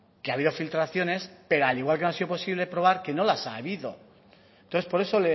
que ha habido filtraciones pero al igual que no ha sido posible probar que no las ha habido entonces por eso